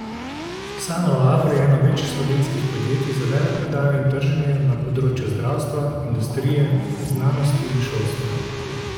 Sanolabor je eno večjih slovenskih podjetij za veleprodajo in trženje na področju zdravstva, industrije, znanosti in šolstva.